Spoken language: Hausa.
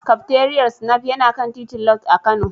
Kafteriyar Snaf yana kan titin Lodge a Kano.